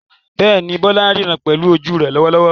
Bẹ́ẹ̀ni, Bola ń ríran pẹ̀lú ojú rẹ̀ lọ́wọ́lọ́wọ́.